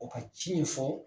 O ka ci in fɔ